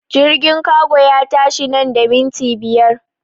Jirgin kago ya tashi nan da minti biyar!